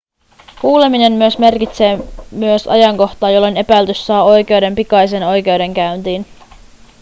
kuuleminen myös merkitsee myös ajankohtaa jolloin epäilty saa oikeuden pikaiseen oikeudenkäyntiin